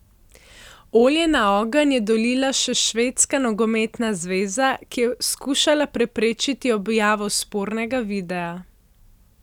Olje na ogenj je dolila še Švedska nogometna zveza, ki je skušala preprečiti objavo spornega videa.